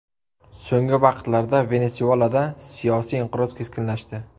So‘nggi vaqtlarda Venesuelada siyosiy inqiroz keskinlashdi.